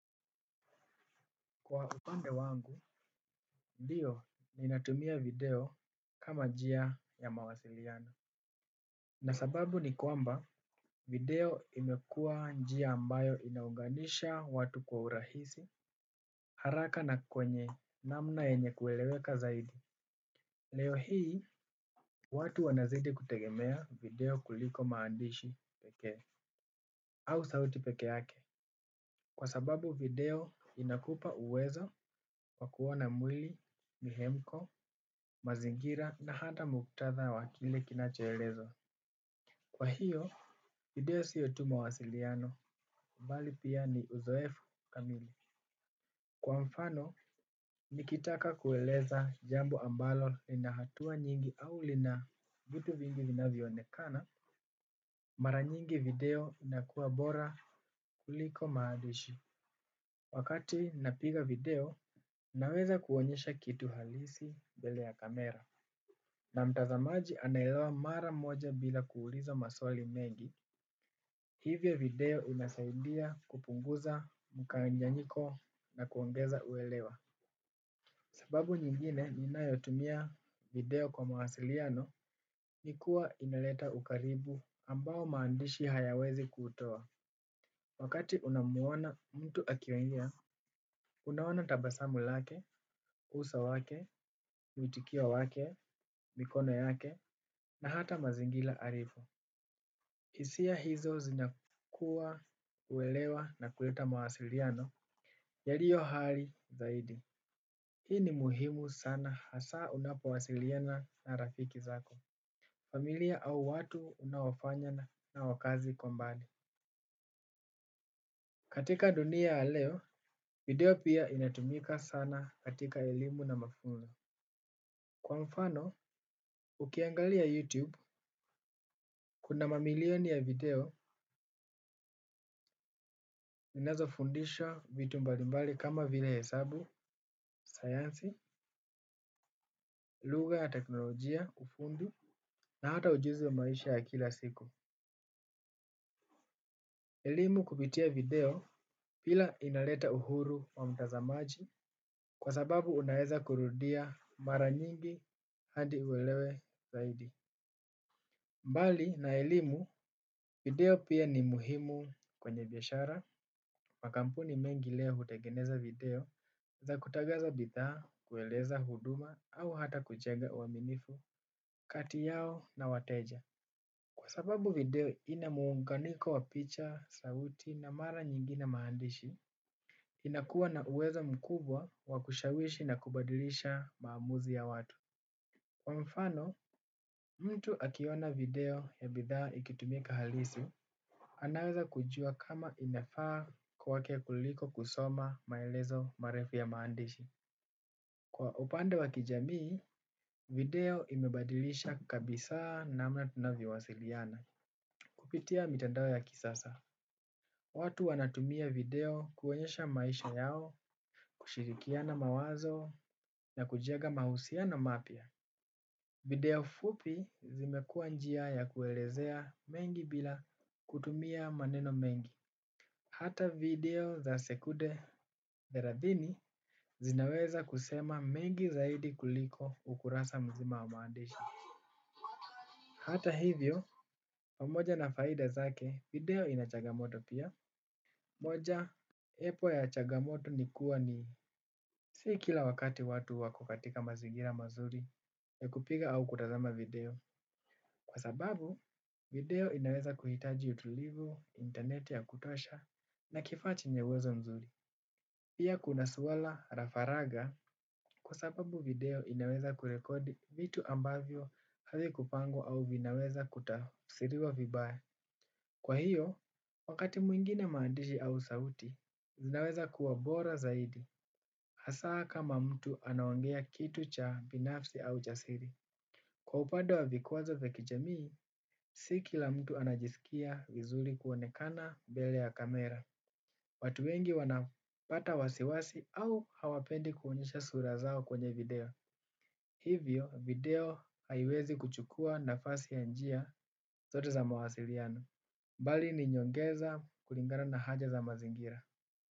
Kwa upande wangu, ndiyo ninatumia video kama njia ya mawasiliano. Na sababu ni kwamba video imekuwa njia ambayo inaunganisha watu kwa urahisi, haraka na kwenye namna yenye kueleweka zaidi. Leo hii, watu wanazidi kutegemea video kuliko maandishi peke au sauti peke yake. Kwa sababu video inakupa uwezo wa kuona mwili, mihemko, mazingira na hata muktadha wa kile kinachoelezwa. Kwa hiyo video sio tu mawasiliano mbali pia ni uzoefu kamili. Kwa mfano nikitaka kueleza jambo ambalo ina hatua nyingi au lina vitu vingi vinavyoonekana. Mara nyingi video inakuwa bora kuuliko maandishi. Wakati napiga video naweza kuonyesha kitu halisi mbele ya kamera. Na mtazamaji anaelewa mara moja bila kuuliza maswali mengi. Hivyo video inasaudia kupunguza mkanganyiko na kuongeza uelewa. Sababu nyingine ninayotumia video kwa mawasiliano ni kuwa inaleta ukaribu ambao maandishi hayawezi kutoa. Wakati unamwona mtu akiongea, unaona tabasamu lake, uso wake, uitikio wake, mikono yake, na hata mazingira alipo. Hisia hizo zinakuwa uelewa na kuleta mawasiliano, yaliyo hai zaidi. Hii ni muhimu sana hasa unapowasiliana na rafiki zako, familia au watu unaowafanya na wakazi kombani. Katika dunia ya leo video pia inatumika sana katika elimu na mafunzo. Kwa mfano ukiangalia you tube kuna mamilioni ya video zinazo fundisha vitu mbalimbali kama vile hesabu, sayansi, lugha na teknolojia, ufundi, na hata ujuzi wa maisha ya kila siku. Elimu kupitia video, pia inaleta uhuru wa mtazamaji, kwa sababu unaeza kurudia mara nyingi hadi uelewe zaidi. Mbali na elimu, video pia ni muhimu kwenye biashara makampuni mengi leo hutegeneza video za kutangaza bidhaa, kueleza huduma au hata kujenga uaminifu kati yao na wateja. Kwa sababu video ina muunganiko wa picha, sauti na mara nyingine maandishi, inakuwa na uwezo mkubwa wa kushawishi na kubadilisha maamuzi ya watu. Kwa mfano, mtu akiona video ya bidhaa ikitumika halisi, anaweza kujua kama inafaa kwake kuliko kusoma maelezo marefu ya maandishi. Kwa upande wa kijamii, video imebadilisha kabisa namna tunavyowasiliana. Kupitia mitandao ya kisasa, watu wanatumia video kuonyesha maisha yao, kushirikiana mawazo, na kujenga mahusiano mapya. Video fupi zimekuwa njia ya kuelezea mengi bila kutumia maneno mengi. Hata video za sekude thelathini zinaweza kusema mengi zaidi kuliko ukurasa mzima wa maandishi. Hata hivyo, pamoja na faida zake video ina chagamoto pia. Mojawapo ya changamoto ni kuwa ni si kila wakati watu wako katika mazingira mazuri ya kupiga au kutazama video. Kwa sababu, video inaweza kuhitaji utulivu, interneti ya kutosha, na kifaa chenye uwezo mzuri. Pia kuna suala la, faraga, kwa sababu video inaweza kurekodi vitu ambavyo havikupangwa au vinaweza kutafsiriwa vibaya. Kwa hiyo, wakati mwingine maandishi au sauti, zinaweza kuwa bora zaidi. Hasa kama mtu anaongea kitu cha binafsi au cha siri. Kwa upande wa vikwazo vya kijamii, si kila mtu anajisikia vizuri kuonekana mbele ya kamera. Watu wengi wanapata wasiwasi au hawapendi kuonyesha sura zao kwenye video. Hivyo, video haiwezi kuchukua nafasi ya njia zote za mawasiliano. Mbali ni nyongeza kulingana na haja za mazingira.